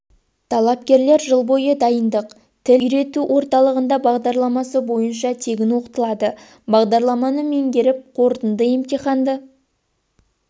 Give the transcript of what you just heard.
талапкерлер жыл бойы дайындық тіл үйрету орталығында бағдарламасы бойынша тегін оқытылады бағдарламаны меңгеріп қорытынды емтиханды